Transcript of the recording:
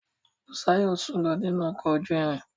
Busayo sùn lọ nínú ọkọ̀ ojú irin.